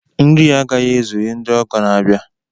Nri a agaghị ezuru ndị ọgọ na-abịa